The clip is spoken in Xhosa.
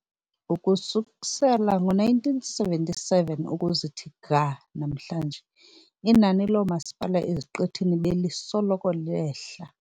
Ukususela ngo-1977 ukuza kuthi ga namhlanje inani loomasipala eziqithini belisoloko lehla.